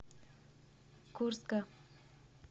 курска